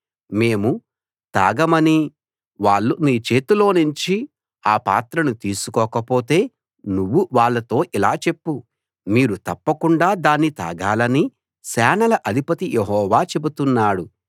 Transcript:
మేము తాగమని వాళ్ళు నీ చేతిలో నుంచి ఆ పాత్రను తీసుకోకపోతే నువ్వు వాళ్ళతో ఇలా చెప్పు మీరు తప్పకుండా దాన్ని తాగాలని సేనల అధిపతి యెహోవా చెబుతున్నాడు